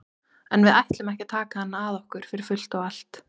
En við ætlum ekki að taka hann að okkur fyrir fullt og allt.